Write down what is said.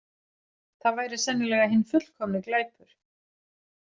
Það væri sennilega hinn fullkomni glæpur.